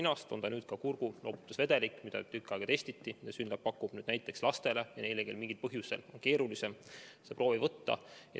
Nüüd on saadaval ka kurguloputusvedelik, mida tükk aega testiti ja mida SYNLAB pakub näiteks lastele ja neile, kellelt mingil põhjusel on keerulisem ninast proovi võtta.